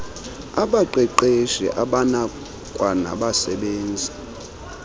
abaqeqeshi abakwaba nagbasebenzi